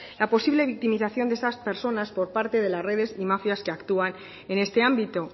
la posible victimización de esas personas por parte de las redes y mafias que actúan en este ámbito